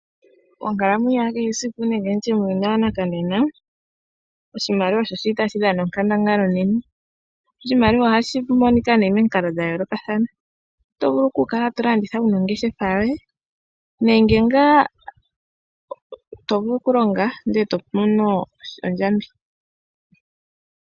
Onkalamwenyo yakehe esiku nenge nditye muuyuni wanakanena, oshimaliwa osho shili tashi dhana onkandangala onene. Oshimaliwa ohashi monika nee momikalo dhayoolokathana, otovulu okukala tolanditha wuna ongeshefa yoye nenge ngaa tovulu okulonga ndele tomono ondjambi.